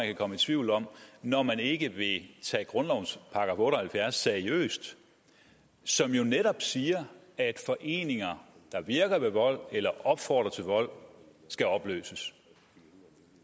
kan komme i tvivl om når man ikke vil tage grundlovens § otte og halvfjerds seriøst som jo netop siger at foreninger der virker ved vold eller opfordrer til vold skal opløses